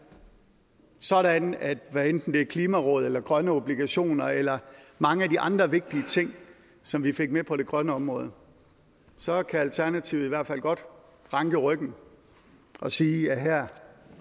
sådan at hvad enten det er klimarådet eller grønne obligationer eller mange af de andre vigtige ting som vi fik med på det grønne område så kan alternativet i hvert fald godt ranke ryggen og sige at her